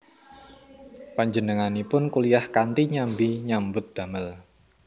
Panjenenganipun kuliyah kanthi nyambi nyambut damel